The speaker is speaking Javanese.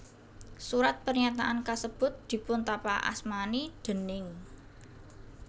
Surat pernyataan kasebut dipuntapakasmani déning